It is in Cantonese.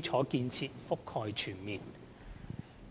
礎建設覆蓋全面。